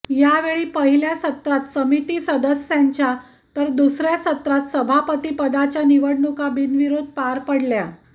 यावेळी पहिल्या सत्रात समिती सदस्यांच्या तर दुसर्या सत्रात सभापतिपदाच्या निवडणुका बिनविरोध पार पडल्या